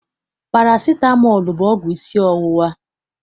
Parasitamọl bụ ọgwụ isi ọwụwa.